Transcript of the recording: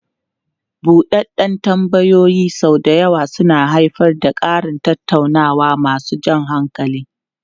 Buɗeɗden tambayoyin sau da yawa suna haifar da ƙarin tattaunawa masu jan hankali.